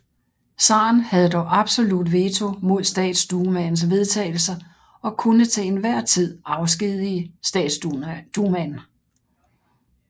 Zaren havde dog absolut veto mod statsdumaens vedtagelser og kunne til enhver tid afskedige statsdumaen